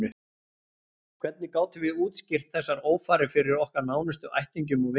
Hvernig gátum við útskýrt þessar ófarir fyrir okkar nánustu ættingjum og vinum?